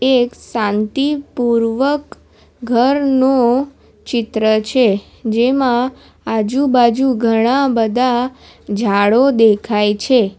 એક શાંતિપૂર્વક ઘરનો ચિત્ર છે જેમાં આજુબાજુ ઘણા બધા ઝાડો દેખાય છે.